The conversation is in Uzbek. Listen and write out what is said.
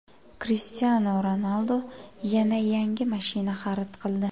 Krishtianu Ronaldu yana yangi mashina xarid qildi.